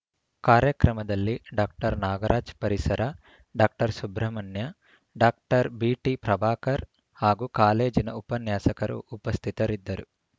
ಕಾರ್ಯಕ್ರಮದಲ್ಲಿ ಡಾಕ್ಟರ್ ನಾಗರಾಜ ಪರಿಸರ doctor Subrahmanya doctor B T Prabhakar ಹಾಗೂ ಕಾಲೇಜಿನ ಉಪನ್ಯಾಸಕರು ಉಪಸ್ಥಿತರಿದ್ದರು